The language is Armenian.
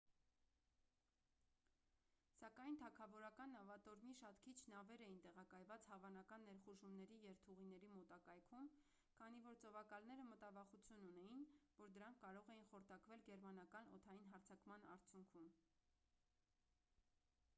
սակայն թագավորական նավատորմի շատ քիչ նավեր էին տեղակայված հավանական ներխուժումների երթուղիների մոտակայքում քանի որ ծովակալները մտավախություն ունեին որ դրանք կարող էին խորտակվել գերմանական օդային հարձակման արդյունքում